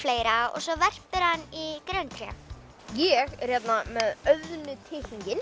og svo verpir hann í grenitré ég er hérna með